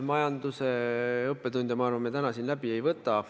Majanduse õppetunde, ma arvan, me täna siin läbi ei võta.